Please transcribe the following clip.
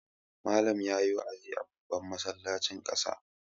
Malam ya yi wa'azi a babban masallacin ƙasa.